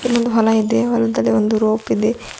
ಇಲ್ಲೊಂದು ಹೊಲ ಇದೆ ಹೊಲದಲ್ಲಿ ಒಂದು ರೋಪಿದೆ.